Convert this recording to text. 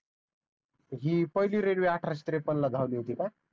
हि पहिली रेलवे अठराशे त्रेपन्न ला धावली होती का?